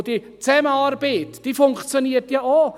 Zudem funktioniert die Zusammenarbeit ja auch.